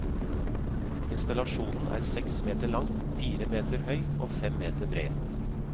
Installasjonen er seks meter lang, fire meter høy og fem meter bred.